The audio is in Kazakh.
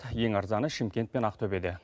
ең арзаны шымкент пен ақтөбеде